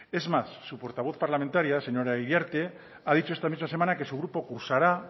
es más su portavoz parlamentaria señora iriarte ha dicho esta misma semana que su grupo cursará